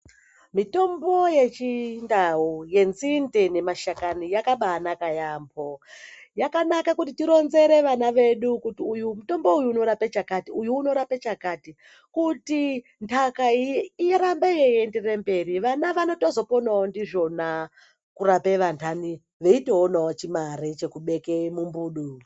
Mitombo yechindau yenzinde nemashakani yakabanaka yaambo. Yakanaka kuti tironzere ana edu kuti uyu mutombo unorapa chakati, uyu unorapa chakati. Kuti nhaka irambe yeienderera mberi vana vanotozoponavo ndizvona kurape vandani vaitoonavo chimare chekubeke mumbudu.